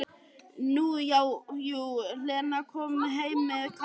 Nú já, jú, Lena kom heim með Kana.